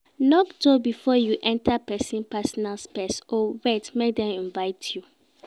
knock door before you enter persin personal space or wait make dem invite you